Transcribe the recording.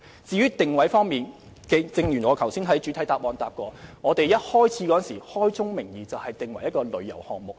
至於定位問題，正如我在主體答覆所說，當我們推出這項計劃時，已開宗明義訂為旅遊項目。